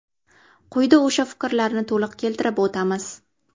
Quyida o‘sha fikrlarni to‘liq keltirib o‘tamiz.